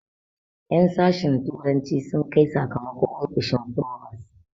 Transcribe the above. En sashen turanci sun kai sakamako ofishin frobos